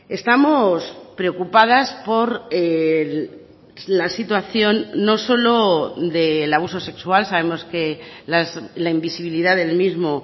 estamos preocupadas por la situación no solo del abuso sexual sabemos que la invisibilidad del mismo